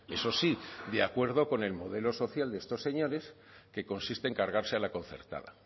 eso sí de acuerdo con el modelo social de estos señores que consiste en cargarse a la concertada